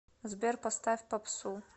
сбер поставь попсу